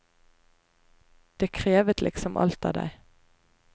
Det krevet liksom alt av deg.